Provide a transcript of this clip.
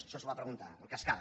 això s’ho va preguntar en cascada